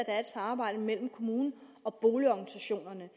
er et samarbejde mellem kommunen og boligorganisationerne